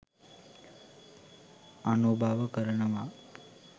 අනුභව කරනවා